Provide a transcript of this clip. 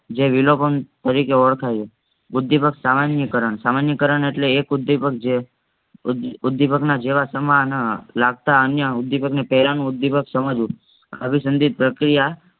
જે વિલોપન તરીકે ઓળખાય છે. ઉદ્દીપક સામાનિકરણ સામાનિકરણ એટલે એક ઉદ્દીપક જે ઉદ્દી ઉદ્દીપકના જેવા સમાન લગતા અન્ય ઉદ્દીપકને પેલનું ઉદ્દીપક સમજવું અભિસંધિત પ્રક્રિયા